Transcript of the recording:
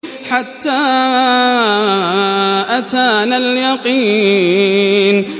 حَتَّىٰ أَتَانَا الْيَقِينُ